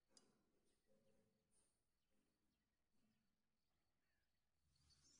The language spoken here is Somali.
Barashada ciyaarta ku salaysan waxay muhiim u tahay korriinka carruurnimada hore.